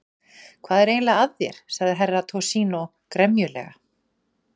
Hvað er eiginlega að þér, sagði Herra Toshizo gremjulega.